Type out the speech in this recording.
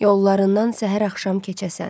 Yollarından səhər-axşam keçəsən.